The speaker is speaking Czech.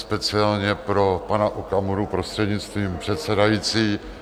Speciálně pro pana Okamuru, prostřednictvím předsedající.